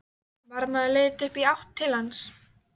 Varðmaður leit upp og í átt til hans.